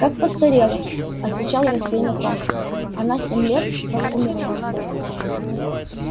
как постарела отвечал рассеянно томский она семь лет как умерла